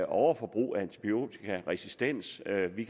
overforbrug af antibiotika og resistens og at vi